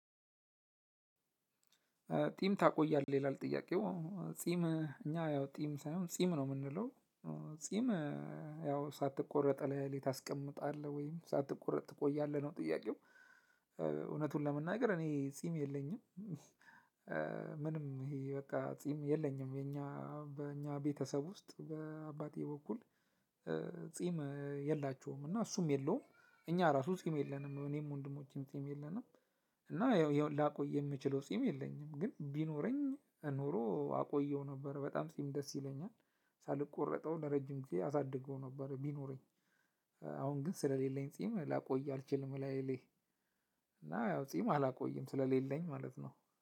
ጢም ታቆያለህ ይላል ጥያቄው ጺም እኛ ያው ጢም ሳይሆን ጺም ነው የምንለው። ጺም ያው ሳትቆረጥ ሌሊት አስቀምጣለሁ ወይም ሳትቆረጥ ትቆያለህ ነው ጥያቄው። እውነቱን ለመናገር እኔ ጺም የለኝም። ምንም ይሄ በቃ ጺም የለኝም የኛ በእኛ ቤተሰብ ውስጥ በአባቴ በኩል ጺም የላቸውም እና እሱም የለውም። እኛ ራሱ ጺም የለንም እኔም ወንድሞቼም ጺም የለንም። እና ያው ላቆይ የምችለው ጺም የለኝም ግን ቢኖረኝ ኖሮ አቆየው ነበር በጣም ጺም ደስ ይለኛል። ሳልቆረጠው ለረጅም ጊዜ አሳድገው ነበር ቢኖረኝ። አሁን ግን ስለሌለኝ ጺም ላቆይ አልችልም። እና ያው ጺም አላቆይም ስለሌለኝ ማለት ነው